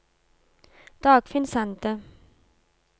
Dagfinn Sande